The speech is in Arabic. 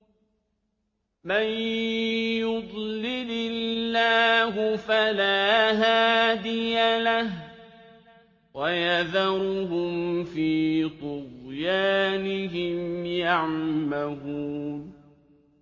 مَن يُضْلِلِ اللَّهُ فَلَا هَادِيَ لَهُ ۚ وَيَذَرُهُمْ فِي طُغْيَانِهِمْ يَعْمَهُونَ